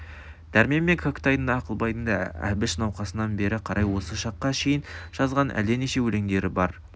дәрмен мен кәкітайдың да ақылбайдың да әбіш науқасынан бері қарай осы шаққа шейін жазған әлденеше өлеңдері бар